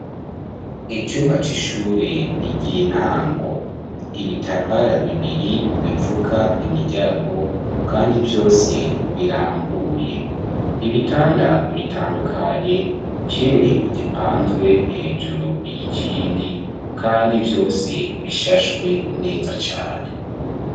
Icumba c'ishure ry'intango, ibitambara bibiri bipfuka imiryango kandi vyose birambuye, ibitanda bitandukanye, kimwe gipanzwe hejuru y'ikindi kandi vyose bishashwe neza cane.